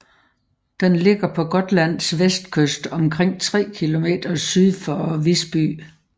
Den ligger på Gotlands vestkys omkring tre kilometer syd for Visby